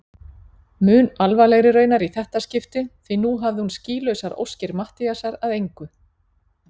Mun alvarlegri raunar í þetta skipti því nú hafði hún skýlausar óskir Matthíasar að engu.